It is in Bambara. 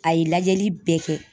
A ye lajɛli bɛɛ kɛ.